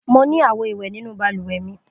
Mo ní àwo-ìwẹ̀ nínú balùwẹ̀ mi.